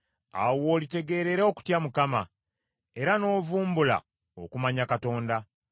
awo w’olitegeerera okutya Mukama , era n’ovumbula okumanya Katonda.